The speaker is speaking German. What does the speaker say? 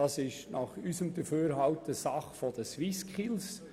» Dies ist aus unserer Sicht Aufgabe der SwissSkills.